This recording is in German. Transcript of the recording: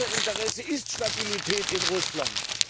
Unser Interesse ist Stabilität in Russland.